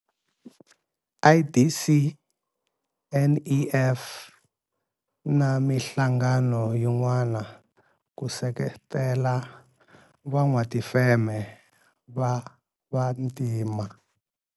IDC, NEF na mihlangano yin'wana ku seketela van'watifeme va vantima.